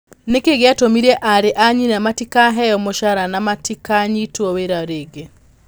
Nĩ kĩĩ gĩatũmire aarĩ a nyina matigakĩheo mũcara na matikaanyitwo wĩra rĩngĩ?